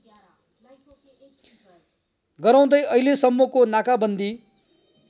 गराउँदै अहिलेसम्मको नाकाबन्दी